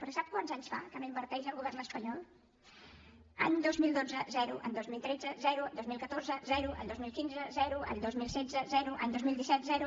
però sap quants anys fa que no hi inverteix el govern espanyol any dos mil dotze zero any dos mil tretze zero dos mil catorze zero any dos mil quinze zero any dos mil setze zero any dos mil disset zero